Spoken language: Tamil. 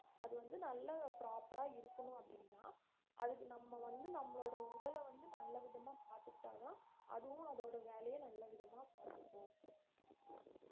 அது வந்து நல்லா proper அ இருக்கணும் அப்படின்னா அதுக்கு நம்ம வந்து நம்மளோட உடல வந்து நல்ல விதமா பாத்துக்கிட்டாதான் அதுவும் அதோட வேலைய நல்ல விதமா பாத்துக்கும்